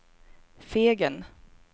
Fegen